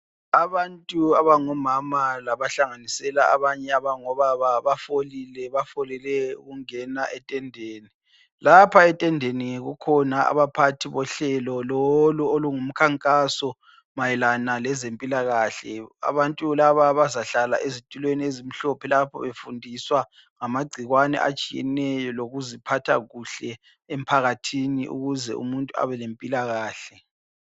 Abantu abangomama laba hlanganisela abanye abangobaba bafolile, bafolele ukungena etendeni lapha etendeni kukhona abaphathi bohlelo lolu olungumkhankaso mayelana lezempilakahle, abantu laba bazahlala ezitulweni ezimhlophe lapha befundiswa ngamagcikwane atshiyeneyo lokuziphatha kuhle emphakathini ukuze umuntu abe lempilakahle.